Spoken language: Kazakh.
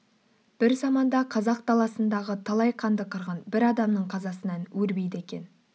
бір заманда қазақ даласындағы талай қанды қырғын бір адамның қазасынан өрбиді екен